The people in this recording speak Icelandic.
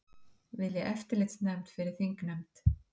Vilja eftirlitsnefnd fyrir þingnefnd